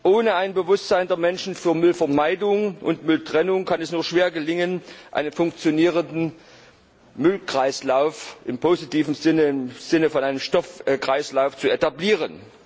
Ohne ein Bewusstsein der Menschen für Müllvermeidung und Mülltrennung kann es nur schwer gelingen, einen funktionierenden Müllkreislauf im positiven Sinne im Sinne von einem Stoffkreislauf zu etablieren.